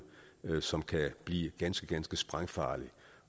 som kan blive ganske ganske sprængfarligt